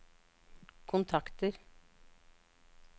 kontakter